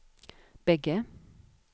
bägge